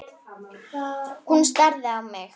Hún starði á mig.